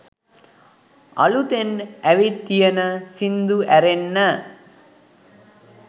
අළුතෙන් ඇවිත් තියෙන සිංදු ඇරෙන්න